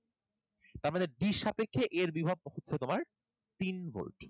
তার মানে d এর সাপেক্ষে a এর বিভব হচ্ছে তোমার তিন volt.